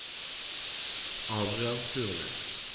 Adrian Furnes